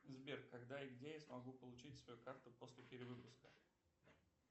сбер когда и где я смогу получить свою карту после перевыпуска